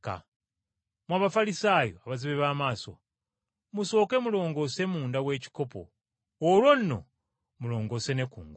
Mmwe Abafalisaayo abazibe b’amaaso! Musooke mulongoose munda w’ekikopo olwo nno mulongoose ne kungulu.